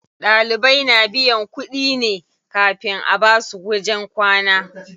Ɗalibai na biyan kuɗi ne kafin a basu wajen kwana.